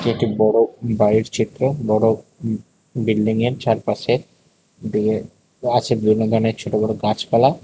একটি বড় বাড়ির চিত্র বড় উঁ বিল্ডিংয়ের চারপাশে দিয়ে আছে বিভিন্ন ধরণের ছোট বড় গাছপালা।